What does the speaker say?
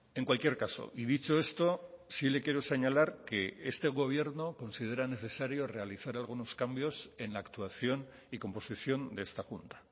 en cualquier caso y dicho esto sí le quiero señalar que este gobierno considera necesario realizar algunos cambios en la actuación y composición de esta junta